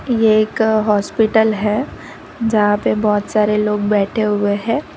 ये एक हॉस्पिटल है जहां पे बहुत सारे लोग बैठे हुए हैं।